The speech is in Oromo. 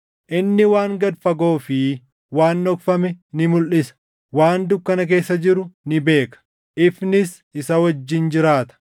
Inni waan gad fagoo fi waan dhokfame ni mulʼisa; waan dukkana keessa jiru ni beeka; ifnis isa wajjin jiraata.